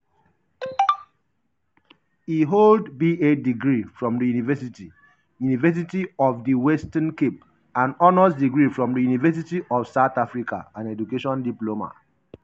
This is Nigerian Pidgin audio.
e hold ba degree from di university university of di western cape and honours degree from di university of south africa and education diploma.